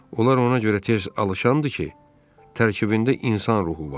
Onlar ona görə tez alışandır ki, tərkibində insan ruhu var.